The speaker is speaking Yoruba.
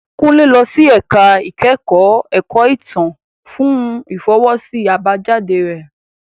Kunle lọ sí ẹ̀ka ìkẹ́kọ̀ọ́ ẹ̀kọ́ ìtàn fún ìfọwọ́sí àbájáde rẹ.